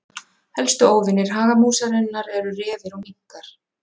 Helstu óvinir hagamúsarinnar eru refir og minkar.